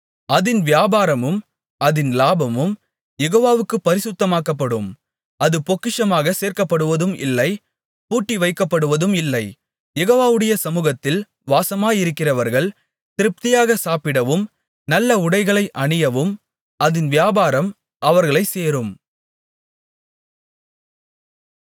அதின் வியாபாரமும் அதின் லாபமும் யெகோவாவுக்குப் பரிசுத்தமாக்கப்படும் அது பொக்கிஷமாகச் சேர்க்கப்படுவதும் இல்லை பூட்டி வைக்கப்படுவதும் இல்லை யெகோவாவுடைய சமுகத்தில் வாசமாயிருக்கிறவர்கள் திருப்தியாகச் சாப்பிடவும் நல்ல உடைகளை அணியவும் அதின் வியாபாரம் அவர்களைச் சேரும்